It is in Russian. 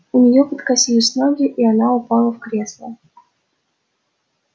у неё подкосились ноги и она упала в кресло